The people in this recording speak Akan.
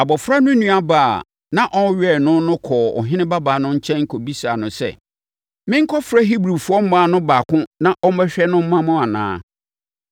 Abɔfra no nuabaa a na ɔrewɛn no no kɔɔ ɔhene babaa no nkyɛn kɔbisaa no sɛ, “Menkɔfrɛ Hebrifoɔ mmaa no baako na ɔmmɛhwɛ no mma wo anaa?”